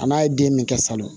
A n'a ye den min kɛ salon